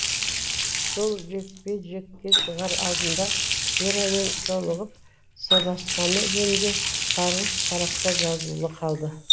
сол жекпе жекке шығар алдында верамен жолығып сырласқаны жөнінде сарғыш парақта жазулы қалды